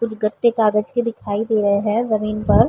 कुछ गद्दे कागज के दिखाई दे रहे हैं जमीन पर।